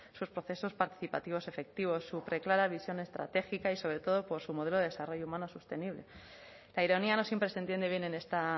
sus procesos participativos efectivos su preclara visión estratégica y sobre todo por su modelo de desarrollo humano sostenible la ironía no siempre se entiende bien en esta